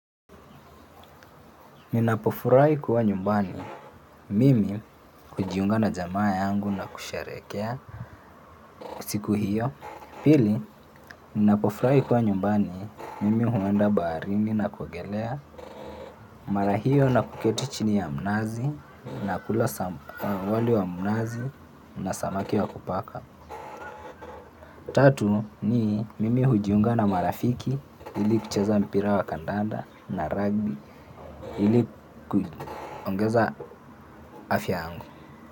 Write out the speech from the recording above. Ninapofurahi kuwa nyumbani mimi hujiunga na jamaa yangu na kusherehekea siku hiyo Pili, ninapofurahi kuwa nyumbani mimi huenda baharini na kuogelea mara hiyo na kuketi chini ya mnazi na kula wali wa mnazi na samaki wa kupaka. Tatu, ni mimi hujiunga na marafiki ili kucheza mpira wa kandanda na rugby ili kuongeza afya yangu.